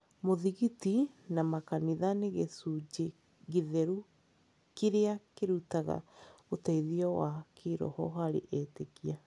Mũthigiti na makanitha nĩ gĩcunjĩ gĩtheru kĩrĩa kĩrutaga ũteithio wa kĩĩroho harĩ etĩkia.